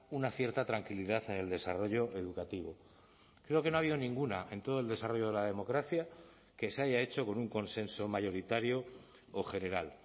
una cierta tranquilidad en el desarrollo educativo creo que no ha habido ninguna en todo el desarrollo de la democracia que se haya hecho con un consenso mayoritario o general